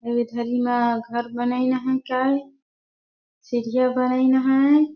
मा घर बनाईन अहै काये सीढ़िया बनाईन है।